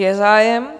Je zájem.